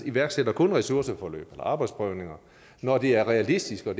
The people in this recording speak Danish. iværksætter ressourceforløb eller arbejdsprøvninger når det er realistisk og